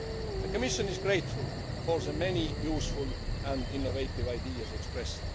The Commission is grateful for the many useful and innovative ideas expressed.